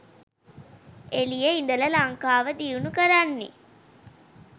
එලියෙ ඉඳල ලංකාව දියුණු කරන්නෙ.